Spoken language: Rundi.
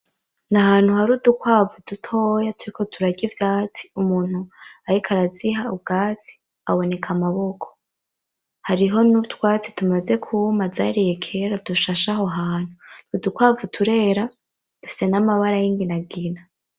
Ni ahantu hari udukwavu dutoya turiko turarya ivyatsi, umuntu ariko araziha ubwatsi aboneka amaboko. Hariho n’utwatsi tumaze kwuma zariye kera dushashe aho hantu. Udukwavu turera dufise n’amabara y’umugina.